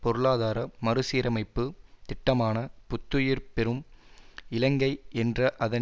பொருளாதார மறுசீரமைப்பு திட்டமான புத்துயிர் பெறும் இலங்கை என்ற அதன்